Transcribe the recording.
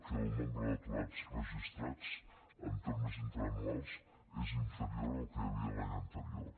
que el nombre d’aturats registrats en termes interanuals és inferior al que hi havia l’any anterior